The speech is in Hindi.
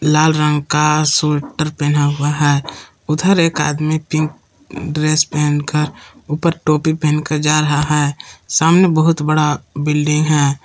लाल रंग का स्वेटर पहना हुआ है उधर एक आदमी पिंक ड्रेस पहन कर ऊपर टोपी पहन कर जा रहा है सामने बहुत बड़ा बिल्डिंग है।